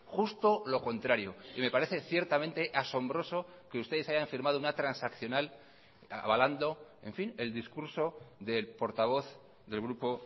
justo lo contrario y me parece ciertamente asombroso que ustedes hayan firmado una transaccional avalando en fin el discurso del portavoz del grupo